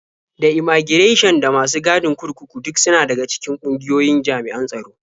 Da immaigirashin da masu gadin kurkuku duk suna daga cikin ƙungiyoyin jami'an tsaro.